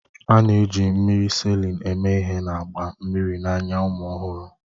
A na-eji mmiri Salịn eme ihe na-agba mmiri n'anya ụmụ ọhụrụ